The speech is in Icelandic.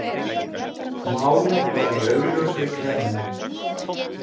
Málið var í augljósri klemmu.